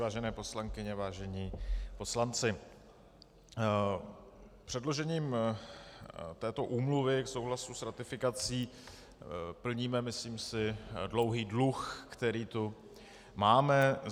Vážené poslankyně, vážení poslanci, předložením této úmluvy k souhlasu s ratifikací plníme, myslím si, dlouhý dluh, který tu máme.